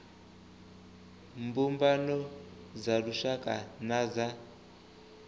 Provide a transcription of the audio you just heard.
mbumbano dza lushaka na dza